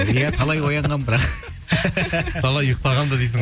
иә талай оянғанмын талай ұйықтағам да дейсің